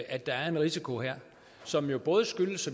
at der er en risiko her som jo både skyldes